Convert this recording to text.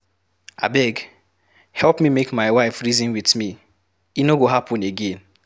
Abeg, help me make my wife reason with me, e no go happen again.